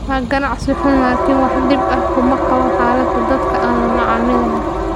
waa ganacsi xun - laakiin wax dhib ah kuma qabo xaaladda dadka aan la macaamilayo."